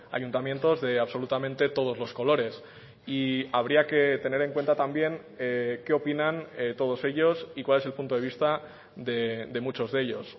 ayuntamientos de absolutamente todos los colores y habría que tener en cuenta también qué opinan todos ellos y cuál es el punto de vista de muchos de ellos